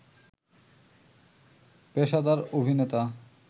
পেশাদার অভিনেতা